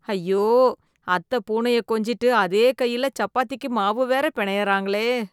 ஐயோ! அத்தை பூனைய கொஞ்சிட்டு அதே கையில சப்பாத்திக்கு மாவு வேற பினையறாங்களே .